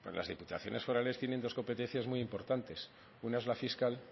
las diputaciones forales tienen dos competencias muy importantes una es la fiscal